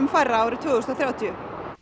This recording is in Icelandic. færra árið tvö þúsund og þrjátíu